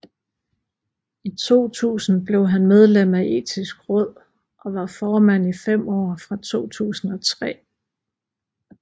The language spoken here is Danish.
I 2000 blev han medlem af Etisk Råd og var formand i fem år fra 2003